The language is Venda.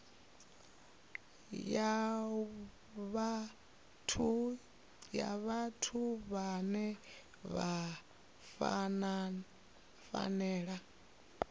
ya vhathu vhane vha fanela